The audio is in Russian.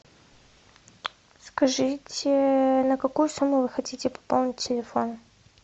скажите на какую сумму вы хотите пополнить телефон